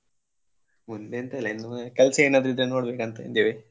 ಮುಂದೆ ಎಂತ ಇಲ್ಲಇನ್ನುವೆ ಕೆಲ್ಸ ಏನಾದ್ರು ಇದ್ರೆ ನೋಡ್ಬೇಕು ಅಂತ ಇದ್ದೇವೆ.